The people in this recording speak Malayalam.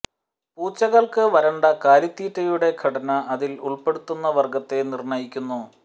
പൂച്ചകൾക്ക് വരണ്ട കാലിത്തീറ്റയുടെ ഘടന അതിൽ ഉൾപ്പെടുന്ന വർഗ്ഗത്തെ നിർണ്ണയിക്കുന്നു